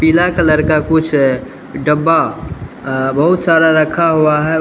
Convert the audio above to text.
पीला कलर का कुछ है डब्बा बहुत सारा रखा हुआ है।